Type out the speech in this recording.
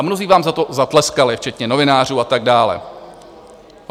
A mnozí vám za to zatleskali, včetně novinářů a tak dále.